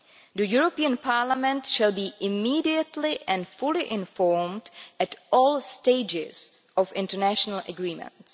The European Parliament shall be immediately and fully informed at all stages of international agreements.